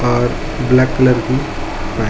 और black colour की वै--